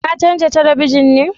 Ka canja talabijin ne?